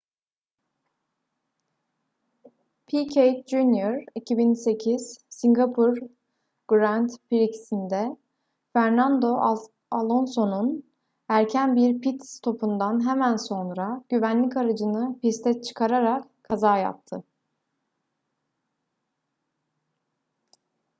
piquet jr 2008 singapur grand prix'sinde fernando alonso'nun erken bir pit stopundan hemen sonra güvenlik aracını piste çıkararak kaza yaptı